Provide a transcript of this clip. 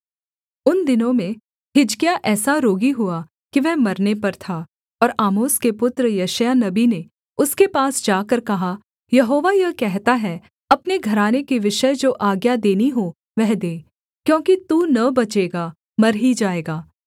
उन दिनों में हिजकिय्याह ऐसा रोगी हुआ कि वह मरने पर था और आमोस के पुत्र यशायाह नबी ने उसके पास जाकर कहा यहोवा यह कहता है अपने घराने के विषय जो आज्ञा देनी हो वह दे क्योंकि तू न बचेगा मर ही जाएगा